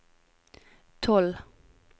tolv